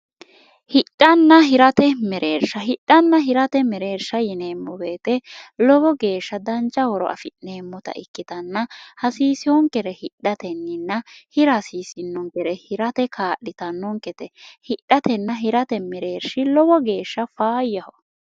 hidhanna hirate mereersha hidhanna hirate mereersha yineemmo beete lowo geeshsha danca horo afi'neemmota ikkitanna hasiisihoonkere hidhatenninna hirasiisinonkere hirate kaadhitannonkete hidhatenna hirate mereershi lowo geeshsha faayyaho